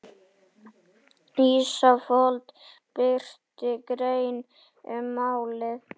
Ísafold birti grein um málið